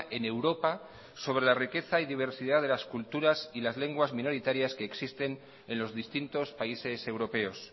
en europa sobre la riqueza y diversidad de las culturas y las lenguas minoritarias que existen en los distintos países europeos